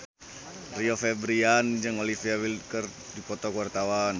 Rio Febrian jeung Olivia Wilde keur dipoto ku wartawan